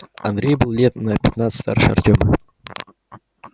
андрей был лет на пятнадцать старше артема